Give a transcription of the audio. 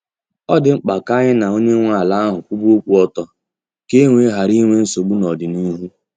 Ọ dị mkpa ka anyị na onye nwe ala ahụ kwuba okwu ọtọ ka e wee ghara inwe nsogbu n’ọdịnihu.